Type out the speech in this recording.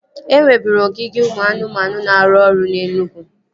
E nweburu ogige ụmụ anụmanụ na-arụ ọrụ na Enugwu